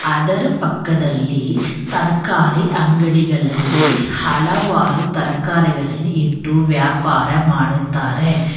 ಅದರ ಪಕ್ಕದಲ್ಲಿ ತರಕಾರಿ ಅಂಗಡಿ ಗಳಲ್ಲಿ ಹಲವಾರು ತರಕಾರಿಗಳನ ಇಟ್ಟು ವ್ಯಾಪಾರ ಮಾಡುತ್ತಾರೆ.